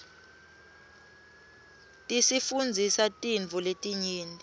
tisifundzisa tintfo letinyenti